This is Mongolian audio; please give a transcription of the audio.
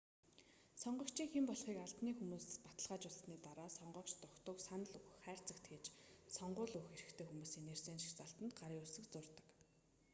сонгогчийн хэн болохыг албаны хүмүүс баталгаажуулсаны дараа сонгогч дугтуйг санал өгөх хайрцагт хийж сонгууль өгөх эрхтэй хүмүүсийн нэрсийн жагсаалтанд гарын үсэг зурдаг